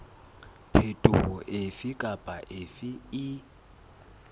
phetoho efe kapa efe e